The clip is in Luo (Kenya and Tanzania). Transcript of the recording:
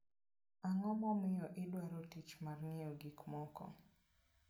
Ang'o momiyo idwaro tich mar ng'iewo gik moko?